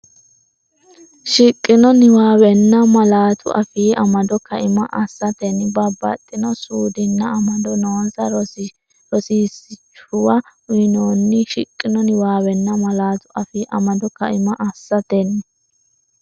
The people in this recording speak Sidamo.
Shiqqino niwaawenna malaatu afii amado kaima assatenni babbaxxino suudinna amado noonsa rosiishshuwa uyinoonni Shiqqino niwaawenna malaatu afii amado kaima assatenni.